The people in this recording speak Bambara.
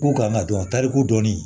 K'u kan ka dɔn tariku dɔnni